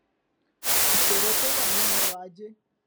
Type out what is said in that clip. ìṣòro tó wà nínú ọrọ ajé